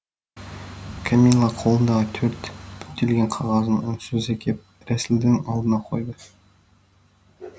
кәмила қолындағы төрт бүктелген қағазын үнсіз әкеп рәсілдің алдына қойды